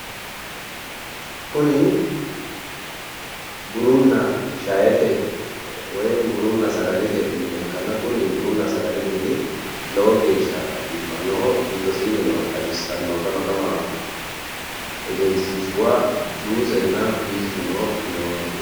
Kuni bununna shaete woyi bununna sagalete mine ikkanna kuni bununna sagalete mini lowo geeshsha biifannoho giddosiinni noo xawissanno gama gama egensiishshuwa juusenna piizu noo gedeeti.